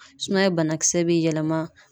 Sumaya banakisɛ bɛ yɛlɛma.